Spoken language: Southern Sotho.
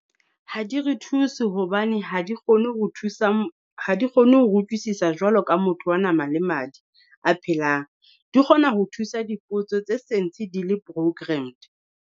Ha di re thuse hobane ha di kgone ho thusa , ha di kgone hore utlwisisa jwalo ka motho wa nama le madi a phelang. Di kgona ho thusa dipotso tse sentse di le programmed.